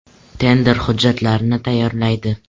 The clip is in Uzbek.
Tender hujjatlarini tayyorlaydi.